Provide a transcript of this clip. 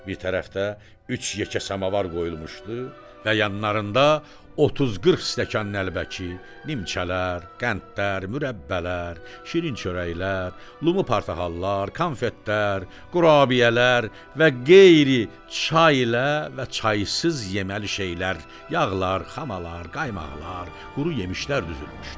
Bir tərəfdə üç yekə samavar qoyulmuşdu və yanlarında 30-40 stəkan ləlbəki, nimçələr, qəndlər, mürəbbələr, şirin çörəklər, lumu, portahallar, konfetlər, qurabiyələr və qeyri çay ilə və çaysız yeməli şeylər, yağlar, xamalar, qaymaqlar, quru yemişlər düzülmüşdü.